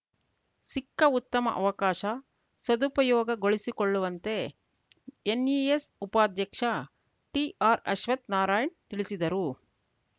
ಸಿಕ್ಕ ಉತ್ತಮ ಅವಕಾಶ ಸದುಪಯೋಗಗೊಳಿಸಿಕೊಳ್ಳುವಂತೆ ಎನ್‌ಇಎಸ್‌ ಉಪಾಧ್ಯಕ್ಷ ಟಿಆರ್‌ಅಶ್ವಥ್‌ ನಾರಾಯಣ್‌ ತಿಳಿಸಿದರು